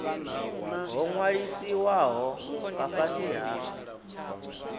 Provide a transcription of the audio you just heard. ho ṅwalisiwaho nga fhasi ha